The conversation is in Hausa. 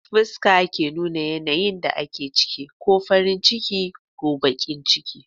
Fuskar ke nuna yanayin da ake ciki, ko farin ciki ko bakin ciki